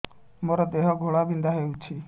ମୋ ଦେହ ଘୋଳାବିନ୍ଧା ହେଉଛି